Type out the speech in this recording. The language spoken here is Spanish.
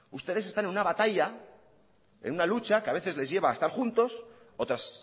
ustedes están en una batalla en una lucha que a veces les lleva a estar juntos otras